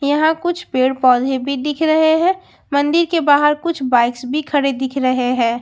यहां कुछ पेड़ पौधे भी दिख रहे हैं मंदिर के बाहर कुछ बाइक्स भी खड़े दिख रहे हैं।